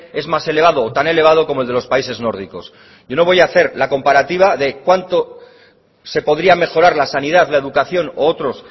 es más elevado o tan elevado como el de los países nórdicos yo no voy a hacer la comparativa de cuánto se podría mejorar la sanidad la educación u otros